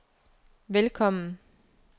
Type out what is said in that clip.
velkommen